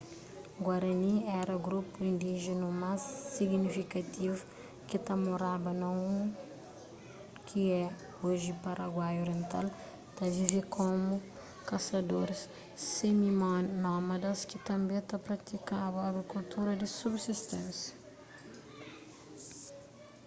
guarani éra grupu indíjinu más signifikativu ki ta moraba na u ki é oji paraguai oriental ta vive komu kasadoris simi-nómadas ki tanbê ta pratikaba agrikultura di subsisténsia